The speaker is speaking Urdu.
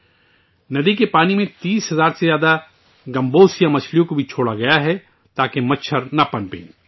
مچھروں کی افزائش کو روکنے کے لیے 30 ہزار سے زائد گیمبوسیا مچھلیوں کو بھی دریا کے پانی میں چھوڑا گیا ہے